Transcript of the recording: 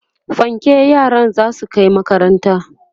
fanke yaran zasu Kai makaranta